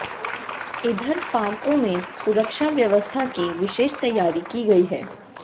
इधर पार्कों में सुरक्षा व्यवस्था की विशेष तैयारी की गई है